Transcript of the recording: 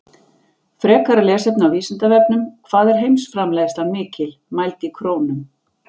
Frekara lesefni á Vísindavefnum: Hvað er heimsframleiðslan mikil, mæld í krónum?